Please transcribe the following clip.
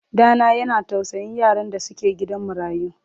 Ɗa na yana tausayin yaran da suke gidan marayu.